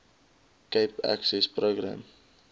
cape access program